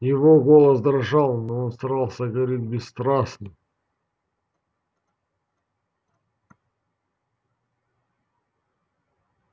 его голос дрожал но он старался говорить бесстрастно